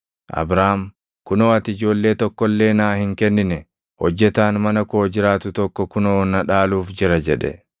Abraam, “Kunoo ati ijoollee tokko illee naa hin kennine; hojjetaan mana koo jiraatu tokko kunoo na dhaaluuf jira” jedhe.